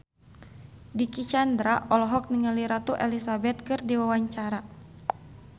Dicky Chandra olohok ningali Ratu Elizabeth keur diwawancara